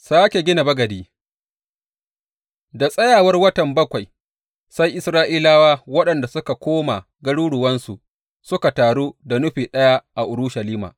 Sāke gina bagadi Da tsayawar watan bakwai, sai Isra’ilawa waɗanda suka koma garuruwansu suka taru da nufi ɗaya a Urushalima.